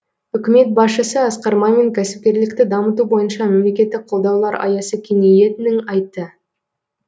үкімет басшысы асқар мамин кәсіпкерлікті дамыту бойынша мемлекеттік қолдаулар аясы кеңейетінін айтты